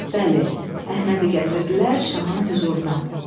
Bəli, Əhmədi gətirdilər Şahın hüzuruna.